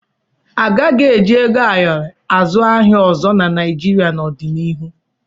A gaghị eji ego ayọrọ azụ ahịa ọzọ na Naịjịrịa n'ọdịnihu.